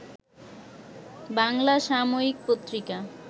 বাংলা সাময়িক পত্রিকা